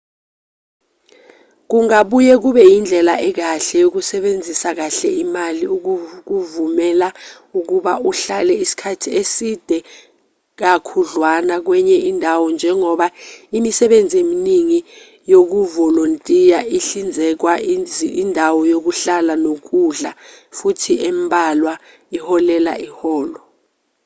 kungabuye kube indlela ekahle yokusebenzisa kahle imali ukukuvumela ukuba uhlale isikhathi eside kakhudlwana kwenye indawo njengoba imisebenzi eminingi yokuvolontiya ihlinzeka indawo yokuhlala nokudla futhi embalwa iholela iholo